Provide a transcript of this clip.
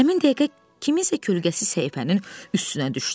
Həmin dəqiqə kiminsə kölgəsi səhifənin üstünə düşdü.